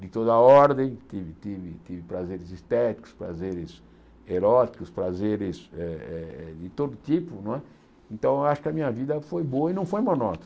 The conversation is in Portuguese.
de toda a ordem, tive tive tive prazeres estéticos, prazeres eróticos, prazeres eh eh eh de todo tipo não é, então acho que a minha vida foi boa e não foi monótona.